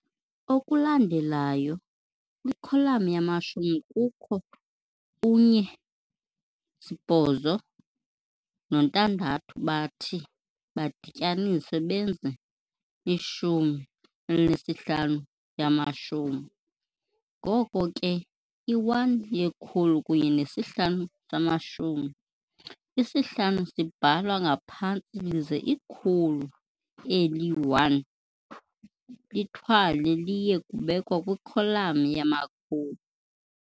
Okulandelayo, kwikholam yamashumi kukho u-1, 8 no-6 bathi badityaniswe benze i-15 yamashumi, goko ke i-1 yekhulu kunye nesi-5 samashumi, isi-5 sibhalwa ngaphantsi lize ikhulu eli-1 lithwalwe liye kubekwa kwikholam yamakhulu.